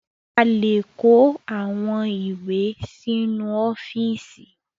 A lè kó àwọn ìwé sínú ọ́fíísì.